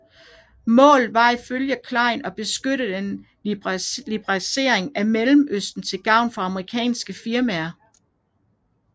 Målet var ifølge Klein at begynde en liberalisering af Mellemøsten til gavn for amerikanske firmaer